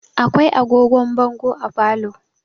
Akwai agogon bongo a falo.